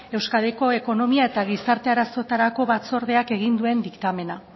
euskadiko ekonomia eta gizarte arazoetarako batzordeak egin duen diktamena